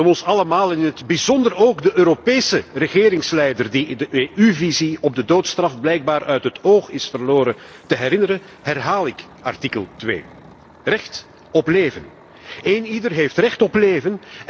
Om ons allemaal, en in het bijzonder ook de Europese regeringsleider die de EU visie op de doodstraf blijkbaar uit het oog is verloren, aan artikel 2 te herinneren, herhaal ik het hier Recht op leven Eenieder heeft recht op leven.